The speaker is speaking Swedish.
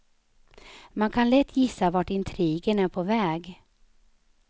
Man kan lätt gissa vart intrigen är på väg.